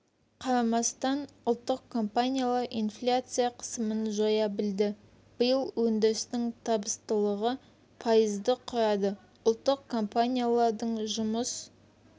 қарамастан ұлттық компаниялар инфляция қысымын жоя білді биыл өндірістің табыстылығы пайызды құрады ұлттық компаниялардың жұмыс